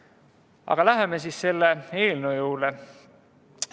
Aga läheme selle eelnõu juurde.